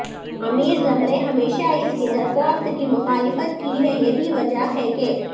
امیر زمرے ہمیشہ اس کی درخواست کی مخالفت کی ہے یہی وجہ ہے کہ